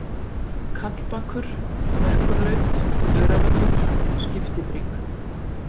Kallbakur, Merkurlaut, Öræfatögl, Skiptibrík